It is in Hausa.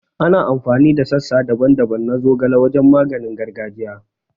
Ana amfani da sassa daban-daban na zogale wajen maganin gargajiya